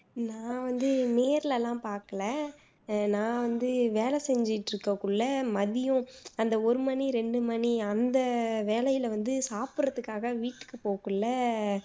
நான் வந்து நேர்ல லாம் பாக்கல அஹ் நான் வந்து வேலை செஞ்சுட்டு இருகக்குள்ள மதியம் அந்த ஒரு மணி ரெண்டு மணி அந்த வேலையில வந்து சாப்பிடுறதுக்காக வீட்டுக்கு போகக்குள்ள